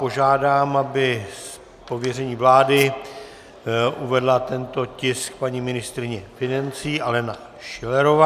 Požádám, aby z pověření vlády uvedla tento tisk paní ministryně financí Alena Schillerová.